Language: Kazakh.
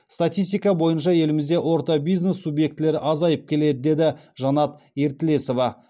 статистика бойынша елімізде орта бизнес субъектілері азайып келеді деді жанат ертілесова